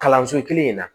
Kalanso kelen in na